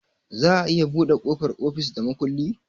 Za a iya buɗe ƙofar ofis da makulli